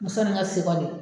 Muso nin ka